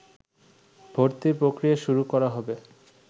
ভর্তির প্রক্রিয়া শুরু করা হবে